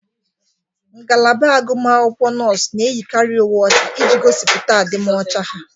Ngalaba agụmakwụkwọ Nọọsụ na eyikari uwe ọcha iji gosipụta adim ọcha ha.